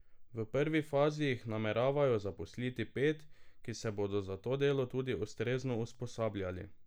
V prvi fazi jih nameravajo zaposliti pet, ki se bodo za to delo tudi ustrezno usposabljali.